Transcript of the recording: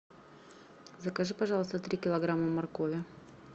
закажи пожалуйста три килограмма моркови